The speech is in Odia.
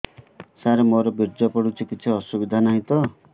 ସାର ମୋର ବୀର୍ଯ୍ୟ ପଡୁଛି କିଛି ଅସୁବିଧା ନାହିଁ ତ